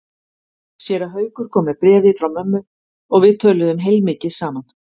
Séra Haukur kom með bréfið frá mömmu og við töluðum heilmikið saman.